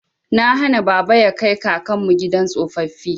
Na hana baba ya kai kakanmu gidan tsofaffi.